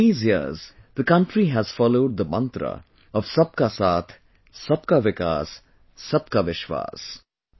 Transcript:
Over these years, the country has followed the mantra of 'SabkaSaath, SabkaVikas, SabkaVishwas'